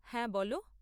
হ্যাঁ বলো।